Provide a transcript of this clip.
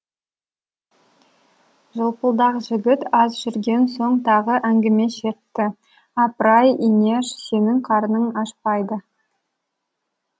жылпылдақ жігіт аз жүрген соң тағы әңгіме шертті апырай инеш сенің қарның ашпайды